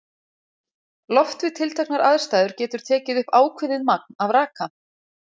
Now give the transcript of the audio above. Loft við tilteknar aðstæður getur tekið upp ákveðið magn af raka.